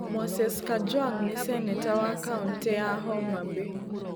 Moses Kajwang' nĩ seneta wa kaũntĩ ya Homa Bay.